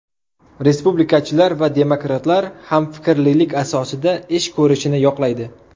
Respublikachilar va demokratlar hamfikrlilik asosida ish ko‘rishini yoqlaydi.